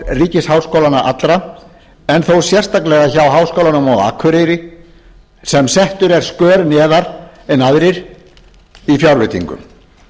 ríkisháskólanna allra en þó sérstaklega hjá háskólanum á akureyri sem settur er skör neðar en aðrir í fjárveitingum